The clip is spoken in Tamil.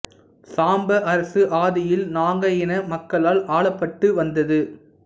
சாம்ப அரசு ஆதியில் நாக இன மக்களால் ஆளப்பட்டு வந்தது